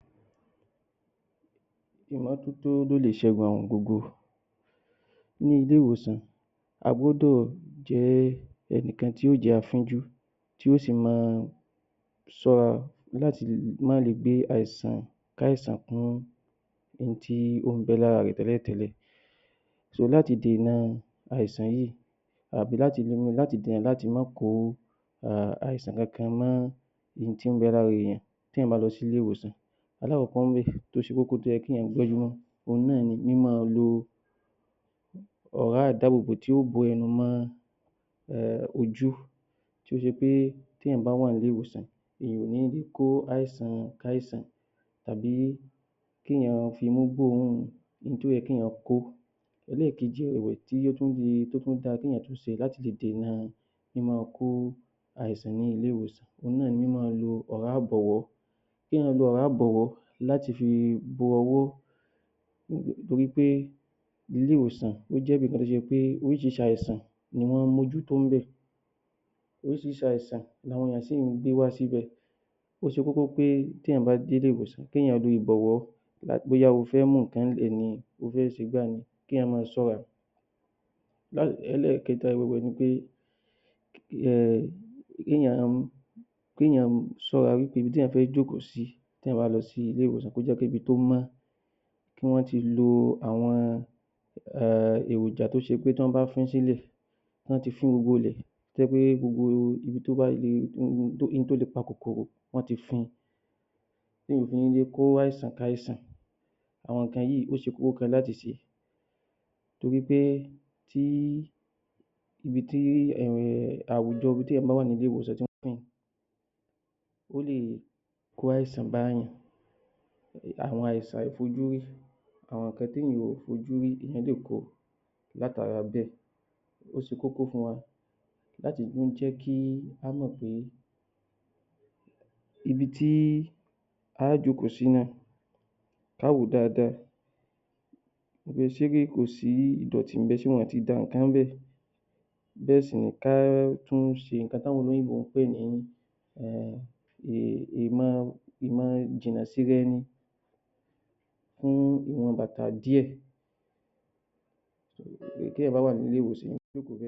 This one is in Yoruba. Ìmọ́tótó ló lè ṣẹ́gun àrùn gbogbo Ní ilé-ìwòsàn a gbọ́dọ̀ jẹ́ ẹnìkan tí yóò jẹ́ afínjú tí ó sì máa sọ láti ma le gbé àìsàn káìsàn kún ẹni tí ó ń bẹ lára rẹ̀ tẹ́lẹ̀ tẹ́lẹ̀. So láti dèna àìsàn yìí àbí láti àìsàn yìí um àbí láti dèna láti ma kò àìsàn kankan mọ in tí ń bẹ lára èèyàn tí èèyàn bá lọ sí ilé-ìwòsàn, alakọkọ ń bẹ̀ tó ṣe kókó tó yẹ kí èèyàn gbọ́njú mọ́ òhun náà ni, mímá lo ọ̀rá ìdábòbò tí yóò bo ẹnu mọ ojú tí ó ṣe pé tí éèyàn bá wà ní ilé-ìwòsàn èèyàn ò ní kó àìsàn káìsàn tàbí kí èèyàn fi imú gbóòórùn in tó yẹ kí èèyàn kó. Ẹlẹ́kèji ẹ̀wẹ̀ tí ó tún fi tó tún da kí èèyàn tún ṣe láti lè dènà míma kó àìsàn ní ilé-ìwòsàn òhun náà ni míma lo ọ̀rá ìbọ̀wọ́. Kí èèyàn lo ọ̀rá ìbọ̀wọ́ láti fi bo owó torípé ilé-ìwòsàn ó jẹ́ ibìkan tó ṣe pé oríṣiríṣi àìsàn ni wọ́n ń mójútó ń bẹ̀, oríṣiríṣi àìsàn ni àwọn èèyàn sì ń gbé wá síbẹ̀. Ó ṣe kókó pé téèyàn bá dé ilé-ìwòsàn, kí èèyàn lo ìbọ̀wọ́ bóyá o fẹ́ mú nǹkan ńbẹ̀ ni, o fẹ́ ṣe gbá ni, kí èèyàn máa ṣọ́ra. Ẹlẹ́ẹ̀kẹ́ta ibi bẹ̀ ni pé um kí èèyàn kí èèyàn ṣọ́ra ibi tí èèyàn fẹ́ jókòó sí tèèyàn bá lọ sí ilé-ìwòsàn tó jẹ́ pé ibi tó mọ́ wọn ti lo àwọn um èròjà tó ṣe pé tán bá fún sílẹ̀, wọ́n ti fún gbogbo ilẹ̀ tó jẹ́ pé gbogbo ibi tó bá to le pa kòkòrò, wọ́n ti fún-un tí ò fi ní jẹ́ kó ràìsàn káìsàn. Àwọn nǹkan yìí ó ṣe láti ṣe torí pé tí ibi tí um àwùjọ ibi tí èèyàn bá wà ní ilé-ìwòsàn ó lè kó àìsàn bá èèyàn. Àwọn àìsàn àfojúrí, àwọn nǹkan tí èèyàn ò fojú rí, èèyàn lè ko látara bẹ́ẹ̀. Ó ṣe kókó fún wọn láti tún jẹ́ kí ká mọ̀ pé ibi tí áá jókòó sí náà, ká wòó dáadáa ṣé kò sí ìdọ̀tí ḿbẹ̀, ṣé wọ̀n ti dá nǹkan lẹ̀ bẹ́ẹ̀ sì ni ká tún ṣe nǹkan táwọn oloyinbo um ìmọ̀ ìjìnàsíra-ẹni fún ìwọn bàtà díẹ̀. Tí èèyàn bá wà ní ilé-ìwòsàn